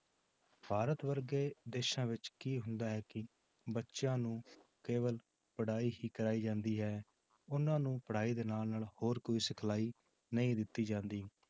ਭਾਰਤ ਵਰਗੇ ਦੇਸਾਂ ਵਿੱਚ ਕੀ ਹੁੰਦਾ ਹੈ ਕਿ ਬੱਚਿਆਂ ਨੂੰ ਕੇਵਲ ਪੜ੍ਹਾਈ ਹੀ ਕਰਵਾਈ ਜਾਂਦੀ ਹੈ ਉਹਨਾਂ ਨੂੰ ਪੜ੍ਹਾਈ ਦੇ ਨਾਲ ਨਾਲ ਹੋਰ ਕੋਈ ਸਿਖਲਾਈ ਨਹੀਂ ਦਿੱਤੀ ਜਾਂਦੀ।